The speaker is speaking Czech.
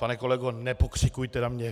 Pane kolego, nepokřikujte na mě.